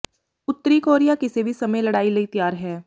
ਉੱਤਰੀ ਕੋਰੀਆ ਕਿਸੇ ਵੀ ਸਮੇਂ ਲੜਾਈ ਲਈ ਤਿਆਰ ਹੈ